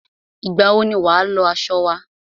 Ìgbà wọ ni wà á lọ aṣọ wa?